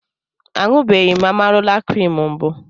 A ṅụbeghị m Amarula krim mbụ.